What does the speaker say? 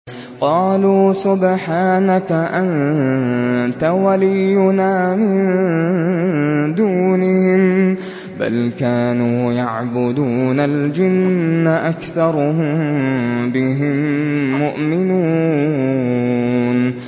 قَالُوا سُبْحَانَكَ أَنتَ وَلِيُّنَا مِن دُونِهِم ۖ بَلْ كَانُوا يَعْبُدُونَ الْجِنَّ ۖ أَكْثَرُهُم بِهِم مُّؤْمِنُونَ